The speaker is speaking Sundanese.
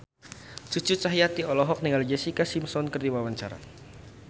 Cucu Cahyati olohok ningali Jessica Simpson keur diwawancara